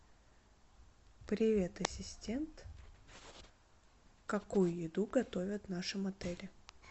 привет ассистент какую еду готовят в нашем отеле